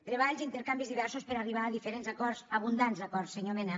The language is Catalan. treballs intercanvis diversos per arribar a diferents acords abundants acords senyor mena